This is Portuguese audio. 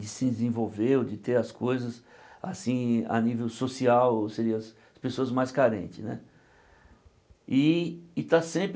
de se desenvolver ou de ter as coisas assim a nível social, seria as pessoas mais carentes né. E e estar sempre